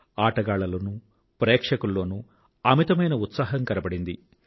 ఆటగాళ్ళలోనూ ప్రేక్షకుల్లోనూ అమితమైన ఉత్సాహం కనబడింది